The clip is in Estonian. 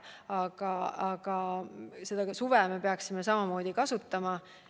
Aga me peaksime suve selleks samamoodi kasutama.